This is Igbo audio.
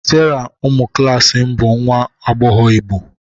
Sarah ụmụ klas m bụ nwa agbọghọ Igbo